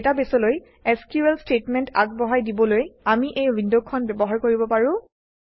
ডাটাবেছলৈ SQL statement আগবঢ়াই দিবলৈ আমি এই উইণ্ডখন ব্যৱহাৰ কৰিব পাৰোঁ